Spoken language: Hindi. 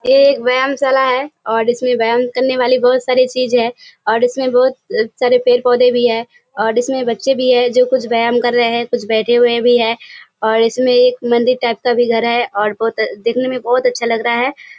ये एक व्यायामशाला है और इसमें व्‍यायाम करने वाली बहोत सारी चीजे हैं और इसमें बहोत सारे पेड़-पौधे भी है और इसमें बच्‍चे भी हैं जो कुछ व्‍यायाम कर रहे हैं कुछ बैठे हुए भी हैं और इसमें एक मंदिर टाइप का भी घर है और बहोत दिखने में बहोत अच्‍छा लग रहा है।